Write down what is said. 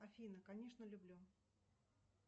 афина конечно люблю